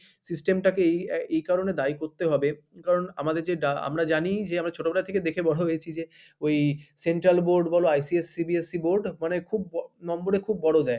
system টাকেই এই~ এই কারণে দায়ী করতে হবে কারণ আমাদের যে ডা আমরা জানি যে আমরা ছোটবেলা থেকে দেখে বড় হয়েছি যে ওই Central Board বলো ICSC, CBSE Board মানে খুব number এ খুব বড় দেয়।